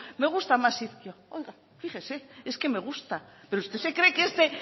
me gusta más ezkio oiga fíjese es que me gusta